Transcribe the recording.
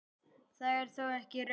Það er þó ekki raunin.